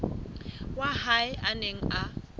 wa hae a neng a